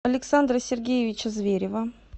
александра сергеевича зверева